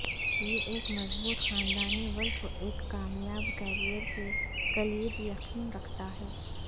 یہ ایک مضبوط خاندانی ولف ایک کامیاب کیریئر کی کلید یقین رکھتا ہے